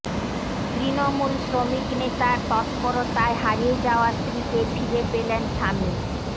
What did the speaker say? তৃণমূল শ্রমিক নেতার তৎপরতায় হারিয়ে যাওয়া স্ত্রীকে ফিরে পেলেন স্বামী